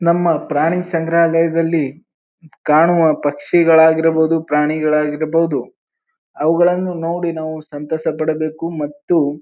ನಮ್ಮ ಪ್ರಾಣಿ ಸಂಗ್ರಾಲಯದಲ್ಲಿ ಕಾಣುವ ಪಕ್ಷಿಗಳ ಆಗಿರಬಹುದು ಪ್ರಾಣಿಗಳಾಗಿರಬಹುದು ಅವುಗಳನ್ನು ನೋಡಿ ಸಂತೋಸ ಪಡಬೇಕು ಮತ್ತು--